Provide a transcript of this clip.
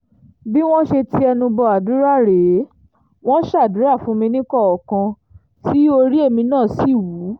bí wọ́n ṣe ti ẹnu bọ àdúrà rèé wọn ṣàdúrà fún mi níkọ̀ọ̀kan tí orí èmi náà sì wú